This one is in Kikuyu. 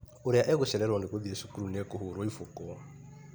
Ũrĩa ũgũcererwo nĩ gũthiĩ cukuru nĩ ekũhũrwo iboko.